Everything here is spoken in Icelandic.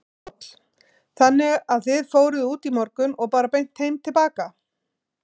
Páll: Þannig að þið fóruð út í morgun og bara beint heim til baka?